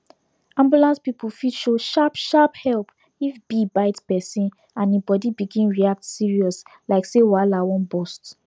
ambulance people fit show sharp sharp help if bee bite person and e body begin react serious like say wahala wan bust